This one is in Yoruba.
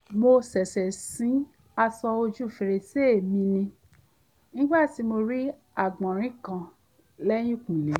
mo ṣẹ̀ṣẹ̀ sí aṣọ ojú fèrèsé mi ni nígbà tí mo rí àgbọ̀nrín kan lẹ́yìnkùlé